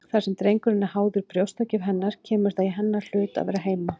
Þar sem drengurinn er háður brjóstagjöf hennar kemur það í hennar hlut að vera heima.